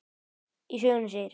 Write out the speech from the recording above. Í sögunni segir